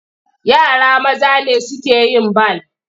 Yara maza ne suke yin bal.